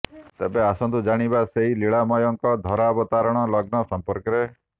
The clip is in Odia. ତେବେ ଆସନ୍ତୁ ଜାଣିବା ସେହି ଲିଳାମୟଙ୍କ ଧରାବତରଣର ଲଗ୍ନ ସମ୍ପର୍କରେ